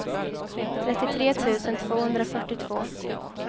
trettiotre tusen tvåhundrafyrtiotvå